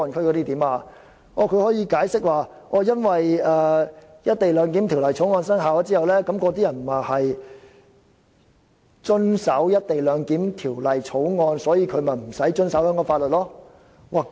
它竟可以解釋說《條例草案》生效之後，那些人員會遵守《條例草案》，所以無須遵守香港法律。